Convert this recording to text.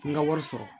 N ka wari sɔrɔ